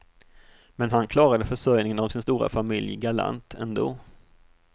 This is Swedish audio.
Men han klarade försörjningen av sin stora familj galant ändå.